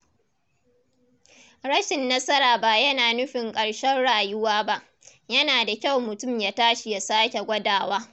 Rashin nasara ba yana nufin karshen rayuwa ba, yana da kyau mutum ya tashi ya sake gwadawa.